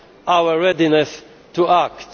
about our readiness to